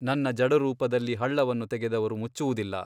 ನನ್ನ ಜಡರೂಪದಲ್ಲಿ ಹಳ್ಳವನ್ನು ತೆಗೆದವರು ಮುಚ್ಚುವುದಿಲ್ಲ.